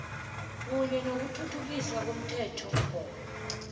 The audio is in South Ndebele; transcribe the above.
kunye nokuthuthukiswa komthethomgomo